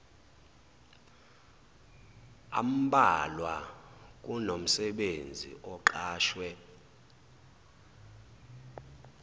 ambalwa kunomsebenzi oqashwe